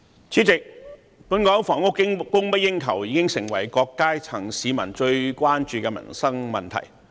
主席，本港房屋供不應求，已成為各階層市民最關注的民生問題。